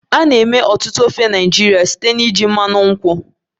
A na-eme ọtụtụ ofe Naịjirịa site na iji mmanụ nkwụ